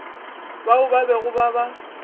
bao ba bego ba ba